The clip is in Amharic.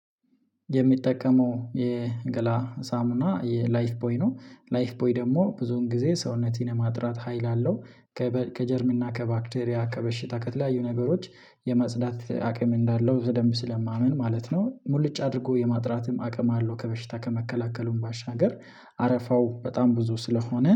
የሚጠቀመው የገላ ሳሙና የላይፍ ቦይ ነው ላይፍ ቦይ ደግሞ ብዙን ጊዜ ሰውነቴን ለማጥራት ሀይል አለው ከጀርም እና ከባክቴሪያ ከበሽታ ከተለያዩ ነገሮች የመጽዳት አቅም እንዳለው በደንብ ስለማምን ማለት ነው። ሙሉጭ አድርጎ የማጥራትም አቅም አለው ከበሽታ ከመከላከሉም ባሻገር። አረፋው በጣም ብዙ ስለሆነ